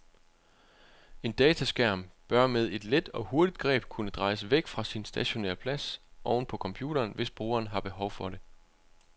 En dataskærm bør med et let og hurtigt greb kunne drejes væk fra sin stationære plads oven på computeren, hvis brugeren har behov for det.